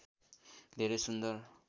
धेरै सुन्दर